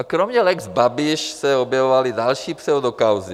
A kromě lex Babiš se objevovaly další pseudokauzy.